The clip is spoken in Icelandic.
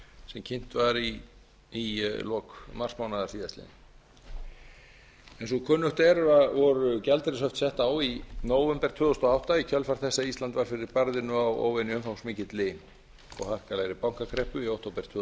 sem kynnt var í lok marsmánaðar síðastliðinn eins og kunnugt er voru gjaldeyrishöft sett á í nóvember tvö þúsund og átta í kjölfar þess að ísland varð fyrir barðinu á óvenju umfangsmikilli og harkalegri bankakreppu í október tvö